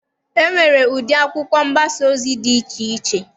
E nwere ụdị akwụkwọ mgbasa ozi dị iche iche.